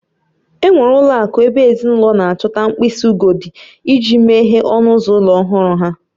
Enwere ụlọ akụ ebe ezinụlọ na-achọta mkpịsị ugodi iji meghee ọnụ ụzọ ụlọ ọhụrụ ha.